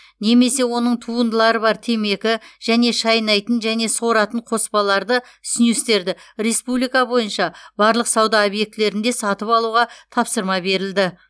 немесе оның туындылары бар темекі және шайнайтын және соратын қоспаларды снюстерді республика бойынша барлық сауда объектілерінде сатып алуға тапсырма берілді